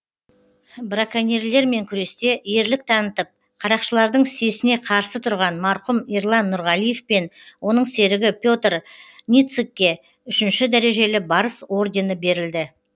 браконьерлермен күресте ерлік танытып қарақшылардың сесіне қарсы тұрған марқұм ерлан нұрғалиев пен оның серігі петр ницыкке үшінші дәрежелі барыс ордені берілді